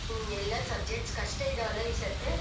ಎಲ್ಲ subjects ಕಷ್ಟ ಇದವಲ್ಲ ಈ ಸರ್ತಿ.